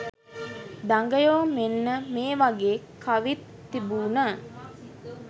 දඟයෝ මෙන්න මේ වගේ කවිත් තිබුන.